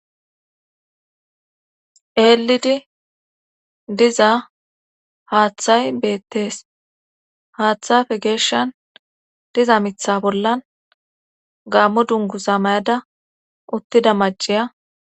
Eelidi diza haaththay beettees. haaththappe geeshan diza mitha bollan gammo dunguza mayada uttida maciya